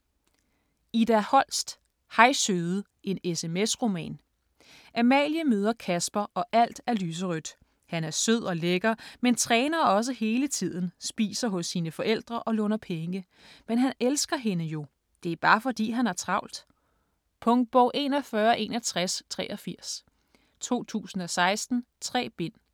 Holst, Ida: Hej søde: en SMS-roman Amalie møder Kasper og alt er lyserødt. Han er sød og lækker men træner også hele tiden, spiser hos sine forældre og låner penge. Men han elsker hende jo. Det er bare fordi, han har travlt. Punktbog 416183 2016. 3 bind.